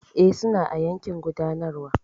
E, suna a yankin gudanarwa.